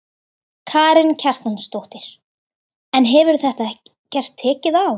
Karen Kjartansdóttir: En hefur þetta ekkert tekið á?